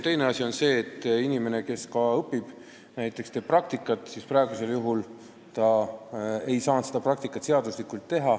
Teine asi on see, et kui välismaalane peab õpingute käigus praktika läbi tegema, siis seni ta ei ole saanud seda seaduslikult teha.